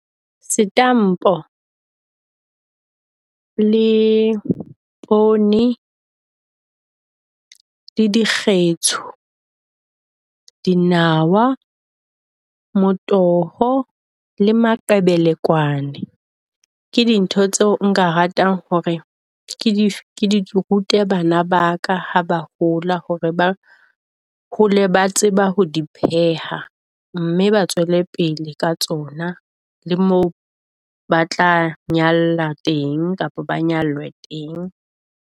Setampo le poone le dikgetsho, dinawa, motoho le maqebelekwane ke dintho tseo nka ratang hore ke dife ke di rute bana ba ka ha ba hola. Hore ba hole ba tseba ho di pheha, mme ba tswele pele ka tsona, le moo ba tla nyalla teng, kapa ba nyalwe teng.